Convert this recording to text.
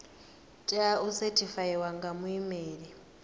tea u sethifaiwa nga muimeli